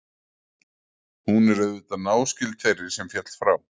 Hún er auðvitað náskyld þeirri sem féll frá.